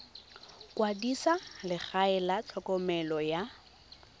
kwadisa legae la tlhokomelo ya